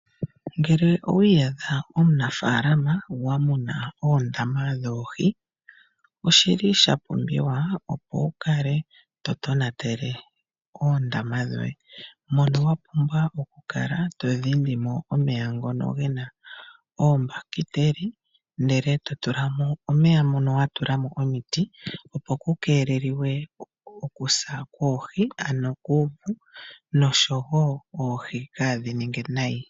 Ngele owi iyadha omunafaalama wa muna wu na oondama dhoohi, oshi li sha pumbiwa opo wu kale to tonatele oondama dhoye, mono wa pumbwa oku kala to dhindi mo omeya ngono ge na oombakiteli ndele to tula mo omeya mono wa tula mo omiti, opo ku keeleliwe okusa kwoohi nosho wo oohi kaadhi ninge nayi.